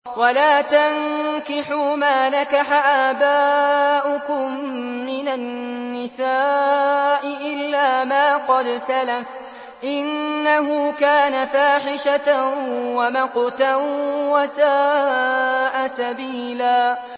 وَلَا تَنكِحُوا مَا نَكَحَ آبَاؤُكُم مِّنَ النِّسَاءِ إِلَّا مَا قَدْ سَلَفَ ۚ إِنَّهُ كَانَ فَاحِشَةً وَمَقْتًا وَسَاءَ سَبِيلًا